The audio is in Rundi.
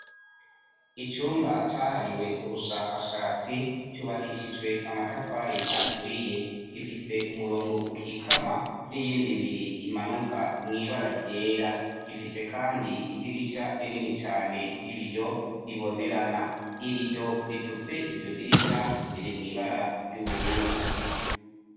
Icumba cahariwe ubushakashatsi cubakishijwe amatafari aturiye gifise umurongo ukikama n'iyindi biri imanuka mw'ibara ryera gifise, kandi idirisha rinini cane ry'ibiyo ribonerana irido ripfutse iryo dirisha riri mwibara ry'ubururu.